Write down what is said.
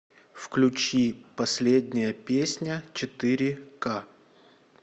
включи последняя песня четыре ка